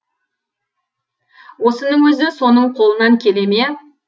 осының өзі соның қолынан келе ме